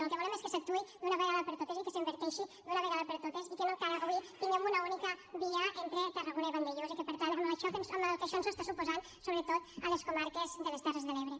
el que volem és que s’actuï d’una vegada per totes i que s’inverteixi d’una vegada per totes i que no encara avui tinguem una única via entre tarragona i vandellòs amb el que això ens suposa sobretot a les comarques de les terres de l’ebre